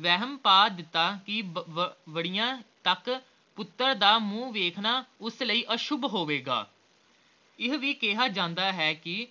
ਵਹਿਮ ਪਾ ਦਿੱਤਾ ਕੇ ਵ ਵਵਰਿਆਂ ਤਕ ਪੁੱਤਰ ਦਾ ਮੂੰਹ ਵੇਖਣਾ ਉਸ ਲਈ ਅਸ਼ੁਭ ਹੋਵੇਗਾ ਇਹ ਵੀ ਕਿਹਾ ਜਾਂਦਾ ਹੈ ਕੇ